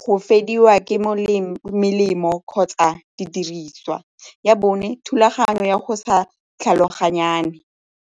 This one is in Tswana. go fediwa ke melemo kgotsa didiriswa. Ya bone, thulaganyo ya go sa tlhaloganyane.